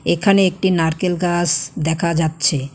এখানে একটি নারকেল গাস দেখা যাচ্ছে।